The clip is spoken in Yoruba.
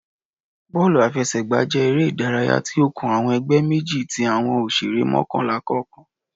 Bọọlu afẹsẹgba jẹ ere idaraya ti o kan awọn ẹgbẹ meji ti awọn oṣere mọkanla kọọkan